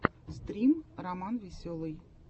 стрим романвеселый